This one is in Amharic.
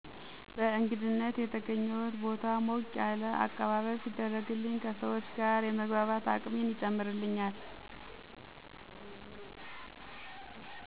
በእንግድነት የተገኘሁት ቦታ ሞቅ ያለ አቀባበል ሲደረግልኝ ከሰዎች ጋር የመግባባት አቅሜን ይጨምርልናል።